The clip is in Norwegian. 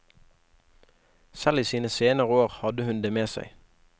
Selv i sine senere år hadde hun det med seg.